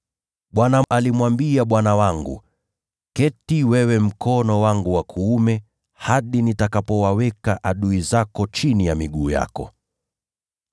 “‘ Bwana alimwambia Bwana wangu: “Keti mkono wangu wa kuume, hadi nitakapowaweka adui zako chini ya miguu yako.” ’